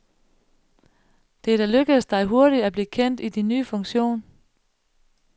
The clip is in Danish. Det er da lykkedes dig hurtigt at blive kendt i din nye funktion.